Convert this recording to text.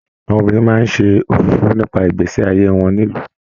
Àwọn obìnrin máa n ṣe òfófó nípa ìgbésẹ ayé wọn nílu.